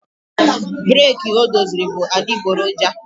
breeki o doziri bụ adịgboroja